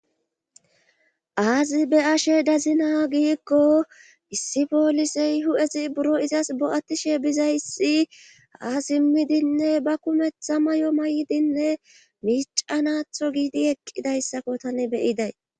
aazi be ashe dazina giikko issi poolisey hu7esi buro izas bo7attishe bizayssi haa simmidinne ba kumetha may7o may7dinne miicanatho giidi eqqidayssakko tani beyiday